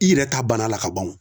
I yɛrɛ ta bana la kaban o.